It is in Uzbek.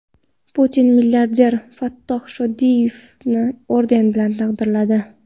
Putin milliarder Fattoh Shodiyevni orden bilan taqdirladi.